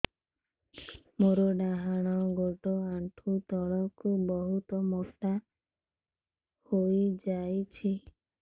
ମୋର ଡାହାଣ ଗୋଡ଼ ଆଣ୍ଠୁ ତଳକୁ ବହୁତ ମୋଟା ହେଇଯାଉଛି